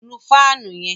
Nù fáànù yẹn!